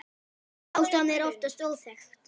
Ástæðan er oftast óþekkt.